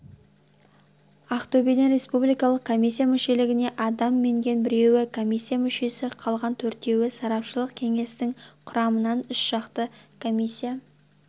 ақтөбеден республикалық комиссия мүшелігіне адам енген біреуі комиисия мүшесі қалған төртеуі сарапшылық кеңестің құрамынан үшжақты комиссия